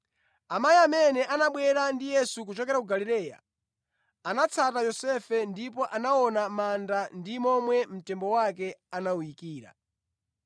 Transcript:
Amayi amene anabwera ndi Yesu kuchokera ku Galileya, anatsata Yosefe ndipo anaona manda ndi momwe mtembo wake anawuyikira.